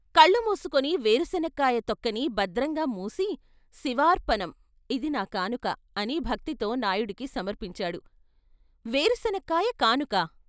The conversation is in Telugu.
కళ్ళుమూసుకుని వేరుశనక్కాయ తొక్కని భద్రంగా మూసి "శివార్పణమ్, ఇది నా కానుక" అని భక్తితో నాయుడుకి సమర్పించాడు. వేరుశనక్కాయ కానుకా?